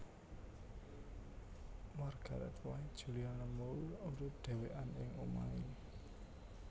Margaret White Julianne Moore urip dhewekan ing omahe